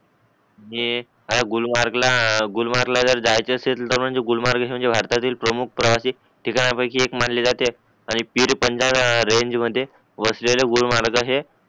आणि ह्या गुलमर्ग ला गुलमर्ग ला जायचं असेल तर म्हणजे गुलमर्ग म्हणजे भारतातील प्रमुख प्रवासी ठिकाणां पैकी एक मानले जाते आनि पीर पंजां रेंज मध्ये वसलेलं गुलमहाराज आहे